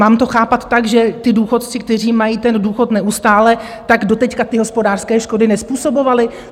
mám to chápat tak, že ti důchodci, kteří mají ten důchod neustále, tak doteď ty hospodářské škody nezpůsobovali?